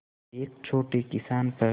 एक छोटे किसान पर